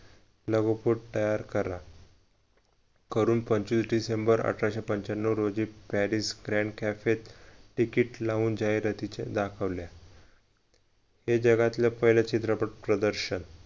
लागोपाठ तयार करा करून पंचवीस डिसेंबर अठराशे पंच्याण्णव रोजी paris grand cafe त तिकीट लावून जाहिरातीच्या दाखवल्या हे जगातील पहिले चित्रपट प्रदर्शन